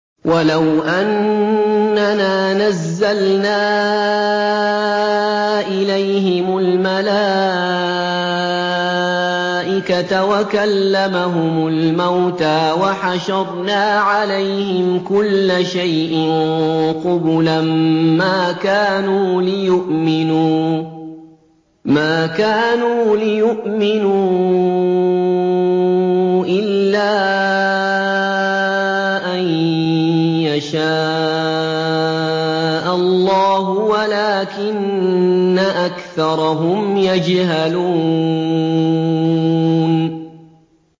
۞ وَلَوْ أَنَّنَا نَزَّلْنَا إِلَيْهِمُ الْمَلَائِكَةَ وَكَلَّمَهُمُ الْمَوْتَىٰ وَحَشَرْنَا عَلَيْهِمْ كُلَّ شَيْءٍ قُبُلًا مَّا كَانُوا لِيُؤْمِنُوا إِلَّا أَن يَشَاءَ اللَّهُ وَلَٰكِنَّ أَكْثَرَهُمْ يَجْهَلُونَ